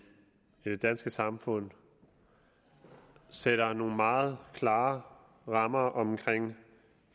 i det danske samfund sætter nogle meget klare rammer om